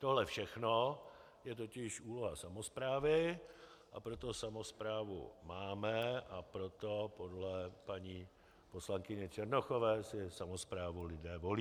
Tohle všechno je totiž úloha samosprávy, a proto samosprávu máme a proto podle paní poslankyně Černochové si samosprávu lidé volí.